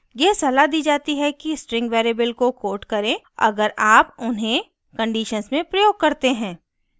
यह सलाह दी जाती है कि string variables को quote करें अगर आप उन्हें कंडीशंस में प्रयोग करते हैं